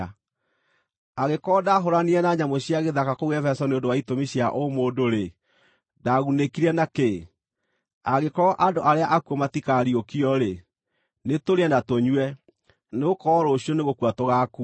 Angĩkorwo ndaahũũranire na nyamũ cia gĩthaka kũu Efeso nĩ ũndũ wa itũmi cia ũ-mũndũ-rĩ, ndaagunĩkire na kĩ? Angĩkorwo andũ arĩa akuũ matikaariũkio-rĩ, “Nĩtũrĩe na tũnyue, nĩgũkorwo rũciũ nĩgũkua tũgaakua.”